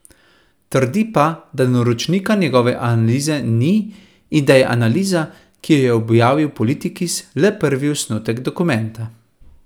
Trdi pa, da naročnika njegove analize ni in da je analiza, ki jo je objavil Politikis, le prvi osnutek dokumenta.